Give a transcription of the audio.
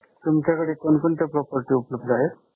तुमच्याकडे कोणकोणत्या property उपलब्ध आहेत?